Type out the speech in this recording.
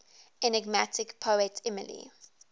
enigmatic poet emily